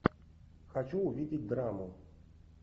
хочу увидеть драму